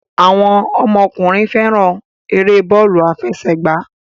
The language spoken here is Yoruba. Àwọn ọmọkùnrin fẹ́ràn eré bọ́ọ́lù-afẹsẹ̀gbá.